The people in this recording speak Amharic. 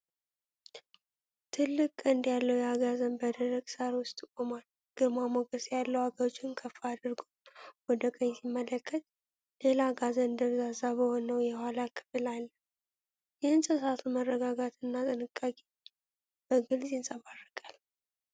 ትልቅ ቀንድ ያለው አጋዘን በደረቅ ሣር ውስጥ ቆሟል። ግርማ ሞገስ ያለው አገጩን ከፍ አድርጎ ወደ ቀኝ ሲመለከት፣ ሌላ አጋዘን ደብዛዛ በሆነው የኋላ ክፍል አለ። የእንስሳቱ መረጋጋትና ጥንቃቄ በግልጽ ይንጸባረቃል።